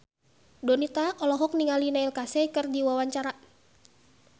Donita olohok ningali Neil Casey keur diwawancara